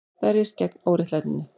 Berjist gegn óréttlætinu